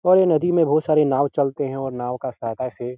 और ये नदी में बहुत सारे नाव चलते हैं और नाव के सहायता से --